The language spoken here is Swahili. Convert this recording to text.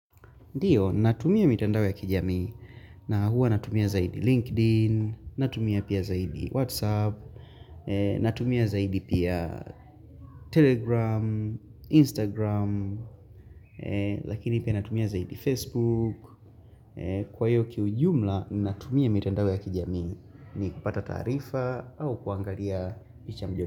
Ndiyo natumia mitandao ya kijami na huwa natumia zaidi linkedin, natumia pia zaidi whatsapp, natumia zaidi pia telegram, instagram, lakini pia natumia zaidi facebook. Kwa hiyo kiujumla natumia mitandao ya kijamii ni kupata taarifa au kuangalia picha.